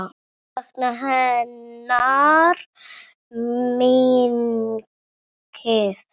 Ég mun sakna hennar mikið.